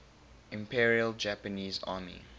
imperial japanese army